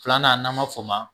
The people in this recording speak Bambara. Filanan n'an b'a fɔ ma